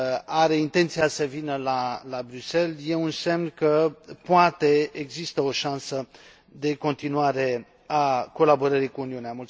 are intenția să vină la Bruxelles e un semn că poate există o șansă de continuare a colaborării cu Uniunea.